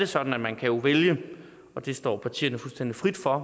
sådan at man kan vælge og det står partierne fuldstændig frit for